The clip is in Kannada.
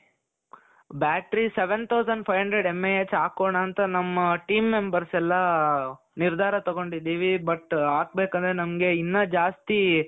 Battery seven thousand five hundred MAHಹಾಕೋಣ ಅಂತ ನಮ್ಮ team members ಎಲ್ಲಾ ನಿರ್ಧಾರ ತಗೊಂಡಿದೀವಿ but ಹಾಕ್ಬೇಕು ಅಂದ್ರೆ ಇನ್ನ ಜಾಸ್ತಿ,